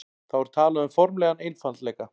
þá er talað um formlegan einfaldleika